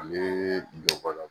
A bɛ don ba la